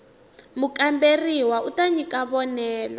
mukamberiwa u ta nyika vonelo